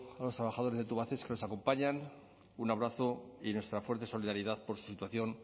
a los trabajadores de tubacex que nos acompañan un abrazo y nuestra fuerte solidaridad por su situación